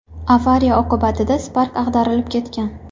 Avariya oqibatida Spark ag‘darilib ketgan.